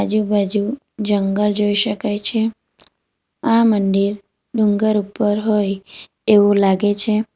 આજુબાજુ જંગલ જોઈ શકાય છે આ મંદિર ડુંગર ઉપર હોય એવું લાગે છે.